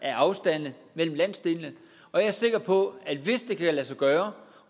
af afstande mellem landsdelene og jeg er sikker på at hvis det kan lade sig gøre